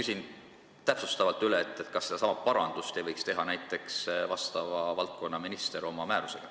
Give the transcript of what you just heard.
Lihtsalt küsin täpsustavalt üle, kas sedasama parandust ei võiks teha vastava valdkonna minister oma määrusega.